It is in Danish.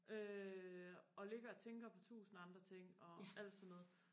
øh og ligger og tænker på tusind andre ting og alt sådan noget